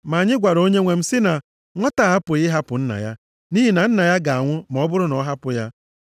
Ma anyị gwara onyenwe m sị na ‘Nwata a apụghị ịhapụ nna ya, nʼihi na nna ya ga-anwụ ma ọ bụrụ na ọ hapụ ya.’